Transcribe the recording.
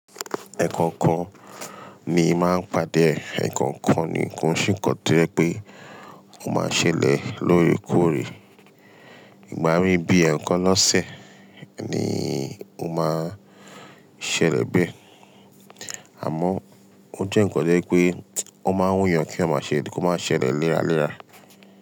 Ẹ̀ẹ̀kan kan ni máa ń pàdé e ẹ́ẹ̀kan kan nì kò nṣe nǹkan tó jẹ́ wípé ó máa ṣẹlẹ̀ lóòrèkóòrè. Ìgbà mí bí ẹẹ̀kan lọ sẹ̀ ni ó máa ṣẹlẹ̀ bẹ́ẹ̀. Àmọ́ ó jẹ́ ǹnkan tó jẹ́ wípé ó máa ń wù yàn kèyàn máa ṣẹ kó máa ṣẹlẹ̀ léra léra.